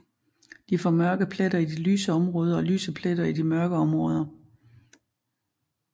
De får mørke pletter i de lyse områder og lyse pletter i de mørke områder